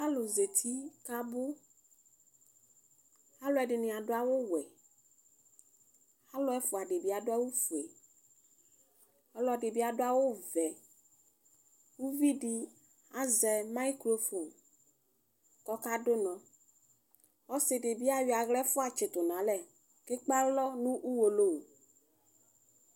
Alʋ zeti kʋ abʋ alʋ edini adʋ awʋwɛ alʋ ɛfʋa dibi adʋ awʋfue ɔlɔdibi adʋ awʋvɛ ʋvidi azɛ mayicrofon kʋ ɔkadʋ ʋnɔ ɔsidi bi ayɔ aɣla ɛfʋa yitsitʋ nʋ alɛ kʋ ekpe alɔ nʋ ʋwolowʋ